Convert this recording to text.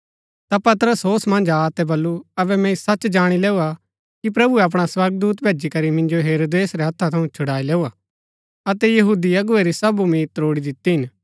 ता पतरस होश मन्ज आ अतै बल्लू अबै मैंई सच जाणी लैऊआ कि प्रभुऐ अपणा स्वर्गदूत भैजी करी मिन्जो हेरोदेस रै हत्था थऊँ छुड़ाई लैऊआ अतै यहूदी अगुवै री सब उम्मीद त्रोड़ी दिती हिन